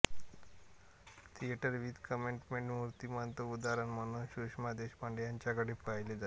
theatre with कमिटमेंटचे मूर्तिमंत उदाहरण म्हणून सुषमा देशपांडे यांच्याकडे पाहिले जाते